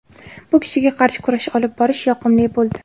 Bu kishiga qarshi kurash olib borish yoqimli bo‘ldi.